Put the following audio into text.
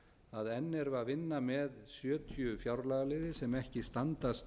að enn erum við að vinna með sjötíu fjárlagaliði sem ekki standast